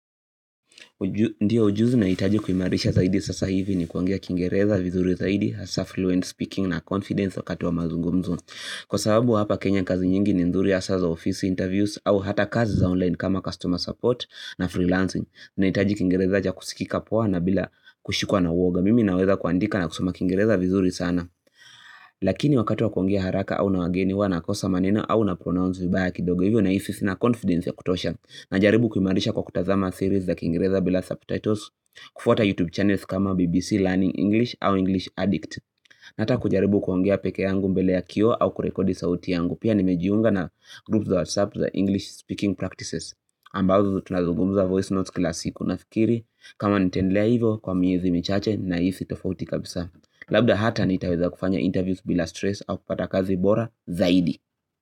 Ndio ujuzi naitaji kumarisha zaidi sasa hivi ni kuongea kingereza vizuri zaidi, hasa fluent speaking na confidence wakati wa mazungumzo. Kwa sababu hapa kenya kazi nyingi ni nzuri hasa za office interviews au hata kazi za online kama customer support na freelancing. Naitaji kingereza cha kusikika poa na bila kushikwa na woga. Mimi naweza kuandika na kusoma kingereza vizuri sana. Lakini wakati wa kuongea haraka au na wageni huwa nakosa manena au na pronounce vibaya kidogo hivyo nahisi sina confidence ya kutosha. Na jaribu kuimarisha kwa kutazama series za kiingereza bila subtitles kufwata YouTube channels kama BBC Learning English au English Addict na hata kujaribu kuongea peke yangu mbele ya kioo au kurekodi sauti yangu pia nimejiunga na groups za WhatsApp za English Speaking Practices ambazo tunazugumuza voice notes kila siku nafikiri kama nitendelea hivo kwa miezi michache nahisi tofauti kabisa labda hata nitaweza kufanya interviews bila stress au kupata kazi bora zaidi.